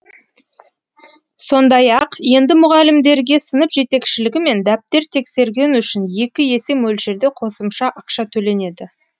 сондай ақ енді мұғалімдерге сынып жетекшілігі мен дәптер тексергені үшін екі есе мөлшерде қосымша ақша төленеді